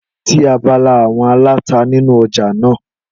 Lọ sí abala àwon aláta ni ọjà naa